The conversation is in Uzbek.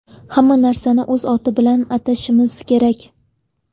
Hamma narsani o‘z oti bilan atashimiz kerak.